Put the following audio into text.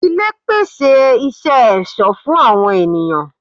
Ilé pèsè isẹ ẹ̀sọ́ fún àwọn ènìyàn